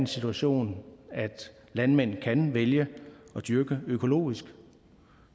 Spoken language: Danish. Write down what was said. situation at landmændene kan vælge at dyrke økologisk